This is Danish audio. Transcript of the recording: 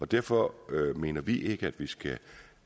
derfor mener vi ikke at vi skal